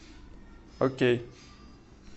окей